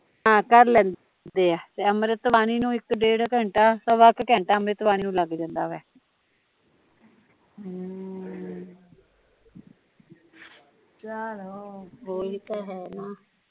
ਹਾਂ ਕਰ ਲੈਂਦੇ ਐ ਤੇ ਅੰਮ੍ਰਿਤੁ ਬਣੀ ਨੂ ਇੱਕ ਡੇਡ ਘੰਟਾ ਸਵਾ ਕੁ ਘੰਟਾ ਲੱਗ ਜਾਂਦਾ ਵਾ